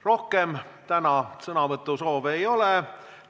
Rohkem sõnavõtusoove täna ei ole.